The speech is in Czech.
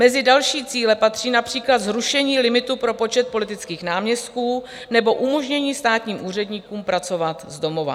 Mezi další cíle patří například zrušení limitu pro počet politických náměstků nebo umožnění státním úředníkům pracovat z domova.